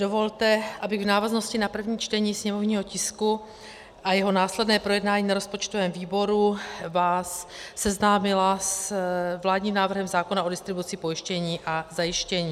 Dovolte, abych v návaznosti na první čtení sněmovního tisku a jeho následné projednání na rozpočtovém výboru vás seznámila s vládním návrhem zákona o distribuci pojištění a zajištění.